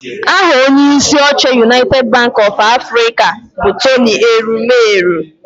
Aha onyeisi oche Unaited banki ọf Afrịka bụ Tony Elumelu